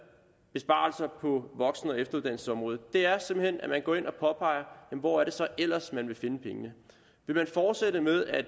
besparelser på voksen og efteruddannelsesområdet er simpelt hen at man går ind og påpeger hvor det så ellers er at man vil finde pengene vil man fortsætte med at